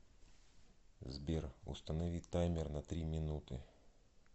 сбер установи таймер на три минуты